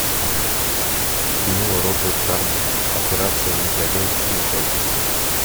кино роджер корман операция негодяй включай